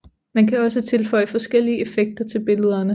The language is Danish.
Man kan også tilføje forskellige effekter til billederne